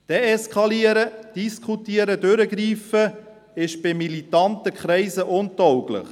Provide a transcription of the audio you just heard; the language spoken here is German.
Deeskalieren, diskutieren und durchgreifen ist bei militanten Kreisen untauglich.